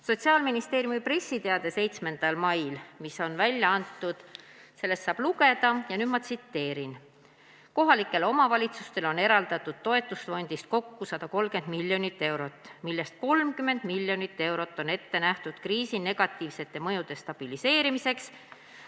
Sotsiaalministeeriumi pressiteatest, mis on välja antud 7. mail, saab lugeda : "Kohalikele omavalitsutele on eraldatud toetusfondist kokku 130 miljonit eurot, millest 30 miljonit eurot on ette nähtud kriisi negatiivsete mõjude stabiliseerimiseks.